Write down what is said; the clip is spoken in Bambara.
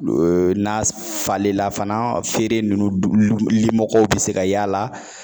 n'a falela fana feere ninnu dugu lu limɔgɔw be se ka y'a la